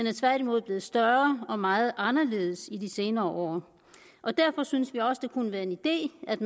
er tværtimod blevet større og meget anderledes i de senere år derfor synes vi også at det kunne være en idé at